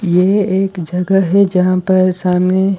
ये एक जगह है जहां पर सामने--